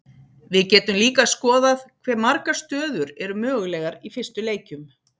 við getum líka skoðað hve margar stöður eru mögulegar í fyrstu leikjum